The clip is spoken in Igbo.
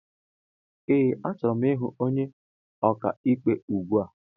Ee a chọrọ m ịhụ ónyé ọkà ikpe ugbua.